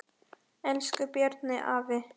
Elsku Bjarni afi.